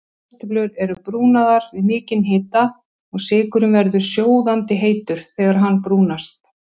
Kartöflur eru brúnaðar við mikinn hita og sykurinn verður sjóðandi heitur þegar hann brúnast.